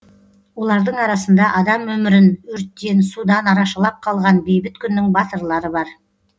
олардың арасында адам өмірін өрттен судан арашалап қалған бейбіт күннің батырлары бар